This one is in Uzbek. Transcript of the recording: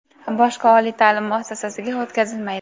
boshqa oliy taʼlim muassasasiga o‘tkazilmaydi;.